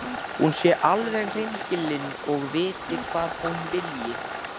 Hún sé alveg hreinskilin og viti hvað hún vilji.